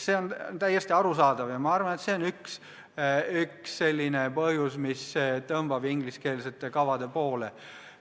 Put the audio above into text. See on täiesti arusaadav ja ma arvan, et see on üks põhjus, miks üliõpilasi tõmbab ingliskeelsete kavade poole.